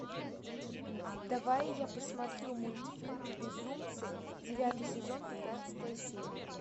давай я посмотрю мультфильм безумцы девятый сезон пятнадцатая серия